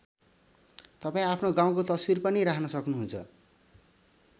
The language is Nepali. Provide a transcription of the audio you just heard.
तपाईँ आफ्नो गाउँको तस्बिर पनि राख्न सक्नुहुन्छ।